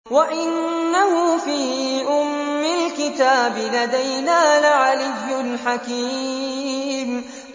وَإِنَّهُ فِي أُمِّ الْكِتَابِ لَدَيْنَا لَعَلِيٌّ حَكِيمٌ